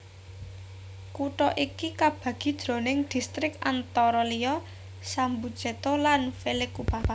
Kutha iki kabagi jroning distrik antara liya Sambuceto lan Vallecupa